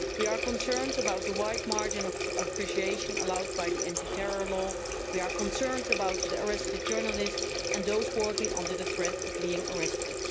We are concerned about the wide margin of appreciation allowed by the anti terror law we are concerned about the arrested journalists and those working under the threat of being arrested.